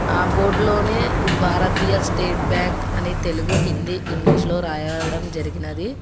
ఆ బోర్డులోనే భారతీయ స్టేట్ బ్యాంక్ అనే తెలుగు హిందీ ఇంగ్లీష్ లో రాయడం జరిగినది.